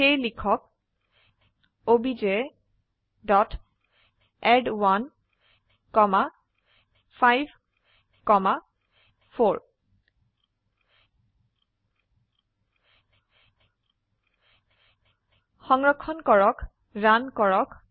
সেয়ে লিখক obj dot add 1 comma 5 comma 4 সংৰক্ষণ ক্ৰক ৰান কৰক